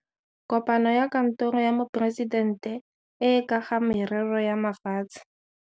Kopano ya Kantoro ya Moporesitente e e ka ga Merero ya Mafatshe.